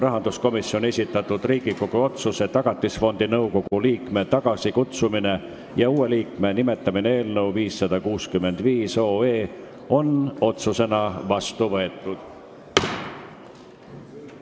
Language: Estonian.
Rahanduskomisjoni esitatud Riigikogu otsuse "Tagatisfondi nõukogu liikme tagasikutsumine ja uue liikme nimetamine" eelnõu 565 on otsusena vastu võetud.